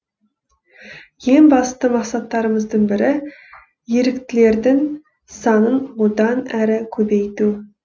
ең басты мақсаттарымыздың бірі еріктілердің санын одан әрі көбейту